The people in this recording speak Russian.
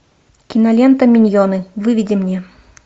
кинолента миньоны выведи мне